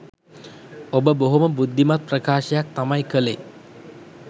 ඔබ බොහොම බුද්ධිමත් ප්‍රකාශයක් තමයි කලේ.